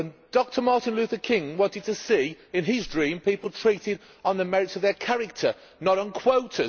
Dr Martin Luther King wanted to see, in his dream, people treated on the merits of their character, not on quotas.